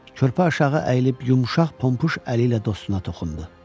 Körpə aşağı əyilib yumşaq pompuş əli ilə dostuna toxundu.